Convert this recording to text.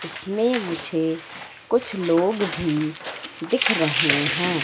इसमें मुझे कुछ लोग भी दिख रहे हैं।